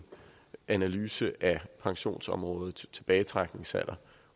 analyse af pensionsområdet tilbagetrækningsalderen